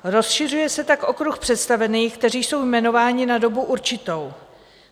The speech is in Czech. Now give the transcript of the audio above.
Rozšiřuje se tak okruh představených, kteří jsou jmenováni na dobu určitou.